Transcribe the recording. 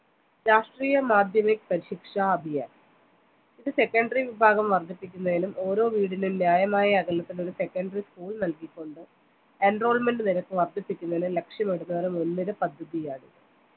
രാഷ്ട്രീയ മാധ്യമിക്ക് പരിശിക്ഷ അഭിയാൻ ഇത് secondary വിഭാഗം വർധിപ്പിക്കുന്നേലും ഓരോ വീടിലും ന്യായമായ അകലത്തിൽ ഒരു secondary school നൽകികൊണ്ട് enrollment നിരക്ക് വർധിപ്പിക്കുന്നതിനെ ലക്ഷ്യമിടുന്ന മുൻ നിര പദ്ദതിയാണിത്